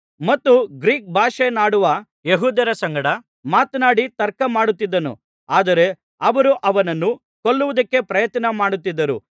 ಮತ್ತು ಗ್ರೀಕ್ ಭಾಷೆಯನ್ನಾಡುವ ಯೆಹೂದ್ಯರ ಸಂಗಡ ಮಾತನಾಡಿ ತರ್ಕಮಾಡುತ್ತಿದ್ದನು ಆದರೆ ಅವರು ಅವನನ್ನು ಕೊಲ್ಲುವುದಕ್ಕೆ ಪ್ರಯತ್ನ ಮಾಡುತ್ತಿದ್ದರು